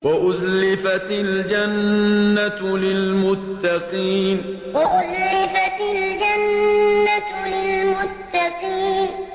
وَأُزْلِفَتِ الْجَنَّةُ لِلْمُتَّقِينَ وَأُزْلِفَتِ الْجَنَّةُ لِلْمُتَّقِينَ